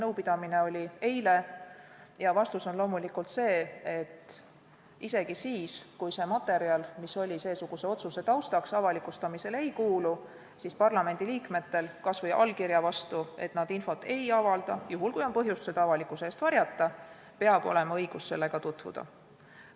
Isegi siis, kui see otsuse tegemise taustaks kasutatud materjal avalikustamisele ei kuulu, on parlamendi liikmetel kas või allkirja vastu õigus sellega tutvuda.